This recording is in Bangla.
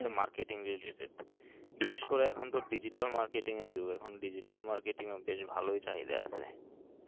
ত্রিশ টা circular দেখবা হচ্ছে marketing related বিশেষ করে এখন তো digital marketing এ দিবে এখন digital marketing এ বেশ ভালোই চাহিদা আসে